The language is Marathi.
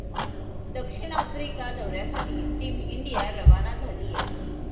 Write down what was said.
दक्षिण आफ्रिका दौऱ्यासाठी टीम इंडिया रवाना झालीये.